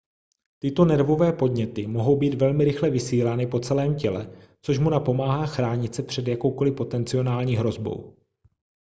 tyto nervové podněty mohou být velmi rychle vysílány po celém těle což mu napomáhá chránit se před jakoukoli potenciální hrozbou